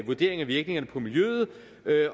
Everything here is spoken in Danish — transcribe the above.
vurdering af virkningerne på miljøet